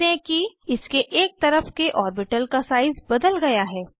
ध्यान दें कि इसके एक तरफ के ऑर्बिटल का साइज बदल गया है